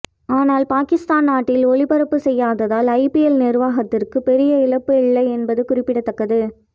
ஆனால் பாகிஸ்தான் நாட்டில் ஒளிபரப்பு செய்யாததால் ஐபிஎல் நிர்வாகத்திற்கு பெரிய இழப்பு இல்லை என்பது குறிப்பிடத்தக்கது